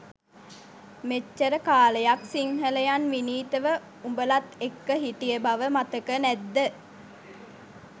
මෙච්චර කාලයක් සිංහලයන් විනීතව උඔලත් එක්ක හිටිය බව මතක නැත්ද?